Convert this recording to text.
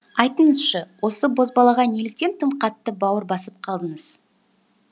айтыңызшы осы бозбалаға неліктен тым қатты бауыр басып қалдыңыз